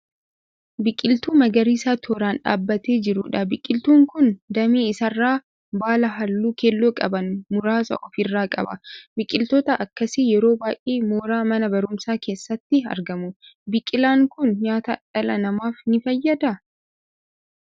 Biqiltuu magariisa tooraan dhaabatee jiruudha. Biqiltuun kun damee isaarraa baala halluu keelloo qaban muraasa of irraa qaba. Biqiltoota akkasii yeroo baay'ee mooraa mana barumsaa keessatti argamu. Biqilaan kun nyaata dhala namaaf ni fayyadaa?